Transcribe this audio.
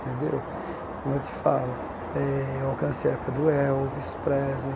Tendeu como eu te falo, eh eu alcancei a época do Elvis, Presley,